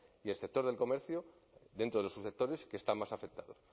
y el sector del comercio dentro de los subsectores que están más afectados